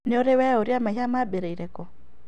Nĩũrĩ weyũria mehia maambĩrĩirie kũũ?